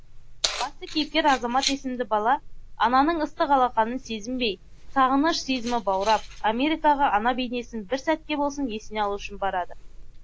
басты кейіпкер азамат есімді бала ананың ыстық алақанын сезінбей сағыныш сезімі баурап америкаға ана бейнесін бір сәтке болсын есіне алу үшін барады